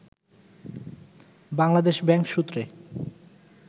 Bangladesh bank সূত্রে